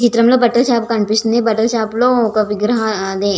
ఈ చిత్రం లో బట్టల షాప్ కనిపిస్తుంది బట్టల షాప్ లో ఒక విగ్రహం మ్మ్ అదే --